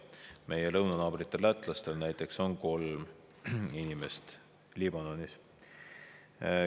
Meie lõunanaabritel lätlastel näiteks on kolm inimest Liibanonis.